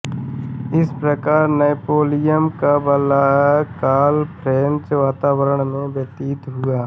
इस प्रकार नैपोलियन का बाल्यकाल फ्रेंच वातावरण में व्यतीत हुआ